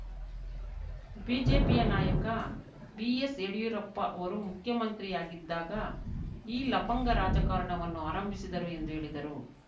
ಬಿಜೆಪಿಯ ನಾಯಕ ಬಿಎಸ್‌ ಯಡಿಯೂರಪ್ಪ ಅವರು ಮುಖ್ಯಮಂತ್ರಿಯಾಗಿದ್ದಾಗ ಈ ಲಫಂಗ ರಾಜಕಾರಣವನ್ನು ಆರಂಭಿಸಿದರು ಎಂದು ಹೇಳಿದರು